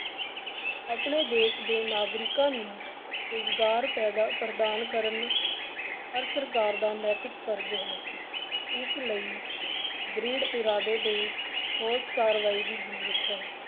ਆਪਣੇ ਦੇਸ ਦੇ ਨਾਗਰਿਕਾਂ ਨੂੰ ਰੁਜ਼ਗਾਰ ਪੈਦਾ ਪ੍ਰਦਾਨ ਕਰਨ ਹਰ ਸਰਕਾਰ ਦਾ ਨੈਤਿਕ ਫ਼ਰਜ਼ ਹੈ, ਇਸ ਲਈ ਦਿੜ੍ਹ ਇਰਾਦੇ ਤੇ ਠੋਸ ਕਾਰਵਾਈ ਦੀ ਜ਼ਰੂਰਤ ਹੈ।